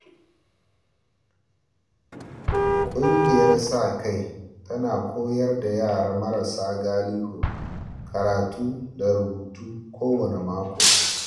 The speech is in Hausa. Kungiyar sa-kai tana koyar da yara marasa galihu karatu da rubutu kowanne mako.